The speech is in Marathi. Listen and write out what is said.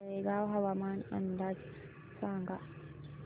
तळेगाव हवामान अंदाज सांगा